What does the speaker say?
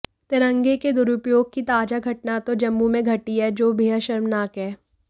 तिरंगे के दुरुपयोग की ताजा घटना तो जम्मू में घटी है जो बेहद शर्मनाक है